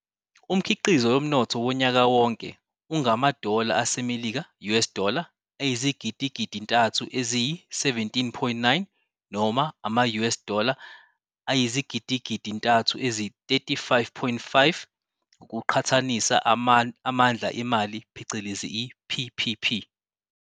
Umkhiqizo yomnotho wonyakawonke ungangamaDola aseMelika, US dollars, ayizigidgidintathu eziyi-17.9, noma ama-US dollars ayizigidigidintathu ezi-35.5, ngokuqhathanisa amandla emali phecelezi i-"PPP".